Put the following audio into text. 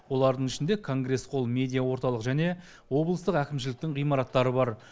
олардың ішінде конгресс холл медиаорталық және облыстық әкімшіліктің ғимараттары бар